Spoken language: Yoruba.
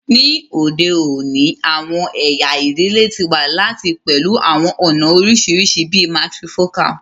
Ni ode oni, awọn ẹya idile ti wa lati pẹlu awọn ọna oriṣiriṣi bii matrifocal